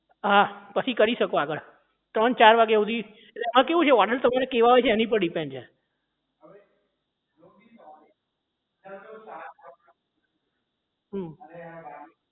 હા પછી કરી શકો આગળ ત્રણ ચાર વાગ્યા સુધી આ કેવું હોય છે order તમારા કેવા હોય છે એની ઉપર depend કરે છે હમ